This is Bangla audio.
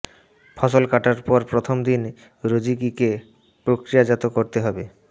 ফসল কাটার পর প্রথম দিন রোজিকিকে প্রক্রিয়াজাত করতে হবে